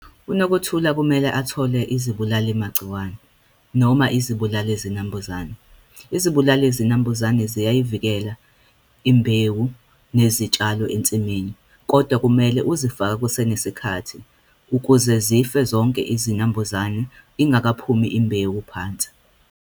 UNokuthula kumele athole izibulali magciwane, noma izibulali zinambuzane. Izibulali zinambuzane ziyayivikela imbewu nezitshalo ensimini, kodwa kumele uzifake kusenesikhathi ukuze zife zonke izinambuzane ingakaphumi imbewu phansi.